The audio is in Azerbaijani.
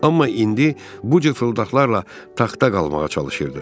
Amma indi bu cür fırıldaqlarla taxta qalmağa çalışırdı.